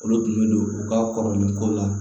Olu tun bɛ don u ka kɔrɔlen ko la